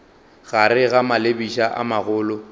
gare ga malebiša a magolo